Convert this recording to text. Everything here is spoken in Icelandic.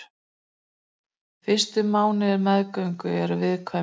Fyrstu mánuðir meðgöngu eru viðkvæmir.